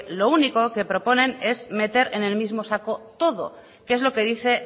lo único que proponen es meter en el mismo saco todo que es lo que dice